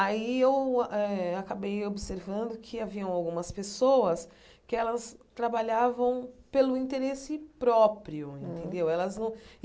Aí eu eh acabei observando que haviam algumas pessoas que elas trabalhavam pelo interesse próprio, entendeu? Elas não